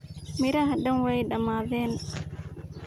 Miraxa dhaan way dhamaadheen.